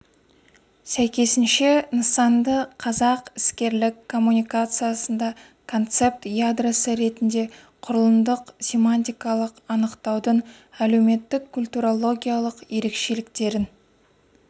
сәйкесінше нысанды қазақ іскерлік коммуникациясында концепт ядросы ретінде құрылымдық-семантикалық анықтаудың әлеуметтік-культурологиялық ерекшеліктерін